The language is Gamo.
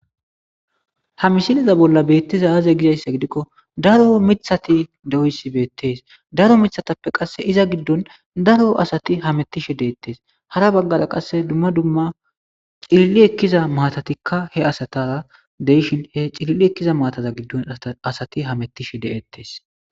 ha misiliza bolla beettiza aaze gizayssa gidikko daro mithati de7oysi beettees daro mithatappe qasse iza giddon daro asati hamettishe deettees hara baggara qasse dumma dumma cililli ekkiza matatikka he asatara deyishin he cililli ekkiza maataza giddon asati hamettishe de7ettes